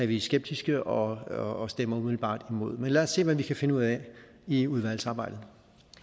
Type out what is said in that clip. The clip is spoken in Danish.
vi skeptiske og og stemmer umiddelbart imod men lad os se hvad vi kan finde ud af i udvalgsarbejdet